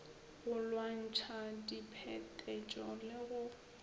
go lwantšha diphetetšo le go